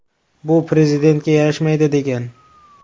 Bu prezidentga yarashmaydi”, degan.